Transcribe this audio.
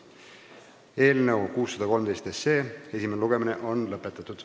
Eelnõu 613 esimene lugemine on lõppenud.